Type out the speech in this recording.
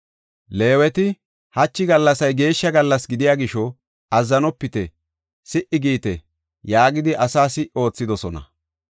Leeweti, “Hachi gallasay geeshsha gallas gidiya gisho, azzanopite; si77i giite” yaagidi asa si77i oothidosona.